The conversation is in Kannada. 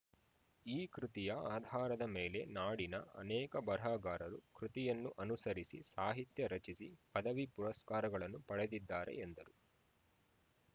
ಈ ಕೃತಿಯ ಆಧಾರದ ಮೇಲೆ ನಾಡಿನ ಅನೇಕ ಬರಹಗಾರರು ಕೃತಿಯನ್ನು ಅನುಸರಿಸಿ ಸಾಹಿತ್ಯ ರಚಿಸಿ ಪದವಿ ಪುರಸ್ಕಾರಗಳನ್ನು ಪಡೆದಿದ್ದಾರೆ ಎಂದರು